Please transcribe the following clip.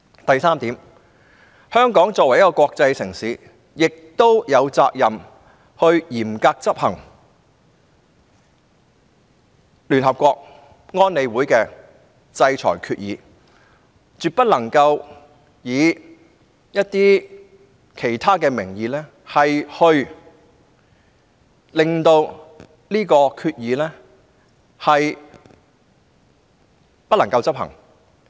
第三，香港作為一個國際城市，是有責任嚴格執行聯合國安理會的制裁決議，絕不能藉其他名義使有關決議無法執行。